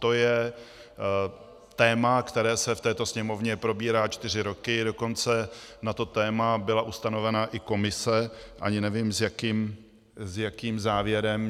To je téma, které se v této Sněmovně probírá čtyři roky, dokonce na to téma byla ustavena i komise, ani nevím, s jakým závěrem.